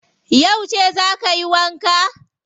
Yauce za ka yi wanka?